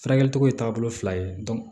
Furakɛli togo ye taabolo fila ye